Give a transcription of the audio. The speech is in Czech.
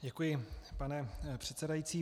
Děkuji, pane předsedající.